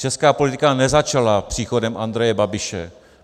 Česká politika nezačala příchodem Andreje Babiše.